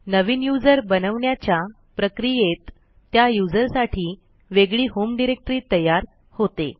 नवीन user बनवण्याच्या प्रक्रियेत त्या userसाठी वेगळी होम डिरेक्टरी तयार होते